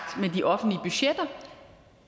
med de offentlige budgetter